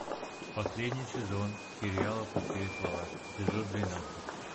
последний сезон сериала пустые слова эпизод двенадцать